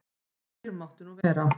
Fyrr mátti nú vera!